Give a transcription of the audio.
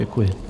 Děkuji.